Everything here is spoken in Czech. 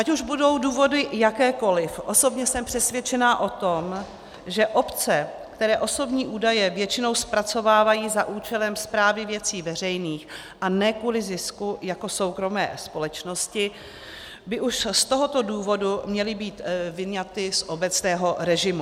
Ať už budou důvody jakékoliv, osobně jsem přesvědčena o tom, že obce, které osobní údaje většinou zpracovávají za účelem správy věcí veřejných a ne kvůli zisku jako soukromé společnosti, by už z tohoto důvodu měly být vyňaty z obecného režimu.